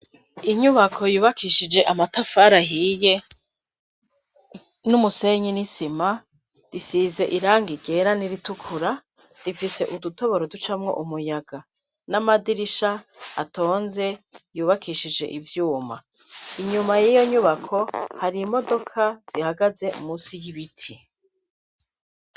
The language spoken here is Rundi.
Inyubako yubakishije amatafari ahiye n'umusenyi n'isima. Risize iranga ryera n'iritukura. Rifise udutoboro ducamwo umuyaga, n'amadirisha atonze yubakishije ivyuma. Inyuma y'iyo nyubako, hari imodoka zihagaze munsi y'ibiti.